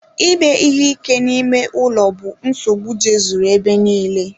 Ime ihe ike n'ime ụlọ bụ nsogbu jezuru ebe nille.